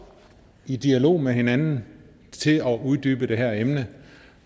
i dialog med hinanden til at uddybe det her emne